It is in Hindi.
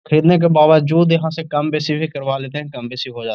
खरीदने के बावजूद यहाँ से कम वैसी भी करवा लेते है। कम बैसी हो जाता है।